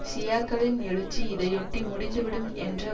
ஷியாக்களின் எழுச்சி இதையொட்டி முடிந்து விடும் என்ற